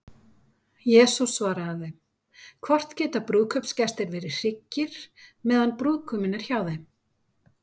Jesús svaraði þeim: Hvort geta brúðkaupsgestir verið hryggir, meðan brúðguminn er hjá þeim?